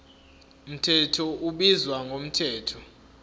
mthetho ubizwa ngomthetho